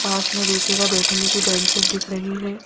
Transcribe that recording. पास में देखिएगा बैठने की बेंच दिख रही है।